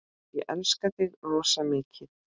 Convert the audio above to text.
Ég elska þig rosa mikið.